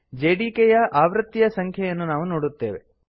JDK ಯ ಆವೃತ್ತಿಯ ಸಂಖ್ಯೆ ಯನ್ನು ನಾವು ನೋಡುತ್ತೇವೆ